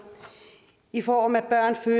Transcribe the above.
i form af